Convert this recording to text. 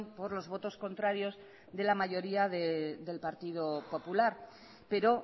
por los votos contrarios de la mayoría del partido popular pero